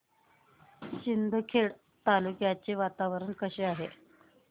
शिंदखेडा तालुक्याचे वातावरण कसे आहे